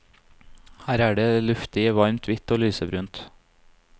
Her er det luftig i varmt hvitt og lysebrunt.